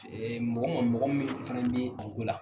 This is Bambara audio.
mɔgɔ ma mɔgɔ min fana bɛ arijo la.